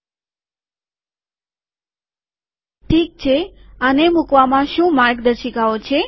ઠીક છે આને મુકવામાં શું માર્ગદર્શિકાઓ છે